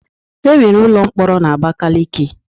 E nwere ụlọ mkpọrọ n'Abakaleke.